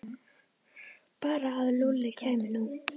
Bara að Lúlli kæmi nú.